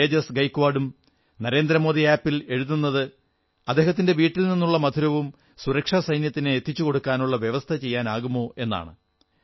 തേജസ് ഗയക്വാഡും നരേന്ദ്രമോദി ആപ് ൽ എഴുതുന്നത് അദ്ദേഹത്തിന്റെ വീട്ടിൽ നിന്നുള്ള മധുരവും സുരക്ഷാസൈന്യത്തിന് എത്തിച്ചുകൊടുക്കാനുള്ള വ്യവസ്ഥ ചെയ്യാനാകുമോ എന്നാണ്